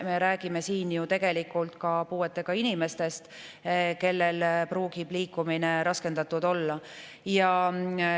Me räägime siin ju ka puuetega inimestest, kellel võib liikumine raskendatud olla.